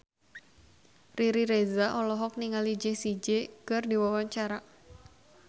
Riri Reza olohok ningali Jessie J keur diwawancara